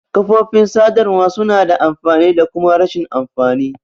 Kafofin sadarwa suna da amfani da kuma rashin amfani.